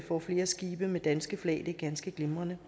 får flere skibe med dansk flag og det er ganske glimrende